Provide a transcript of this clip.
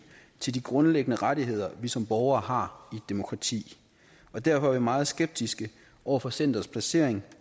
til de grundlæggende rettigheder vi som borgere har i et demokrati derfor er vi meget skeptiske over for centerets placering